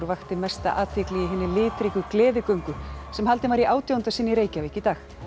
vakti mesta athygli í hinni litríku gleðigöngu sem haldin var í átjánda sinn í Reykjavík í dag